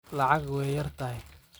Lacag way yartahy.